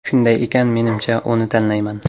Shunday ekan, menimcha, uni tanlayman”.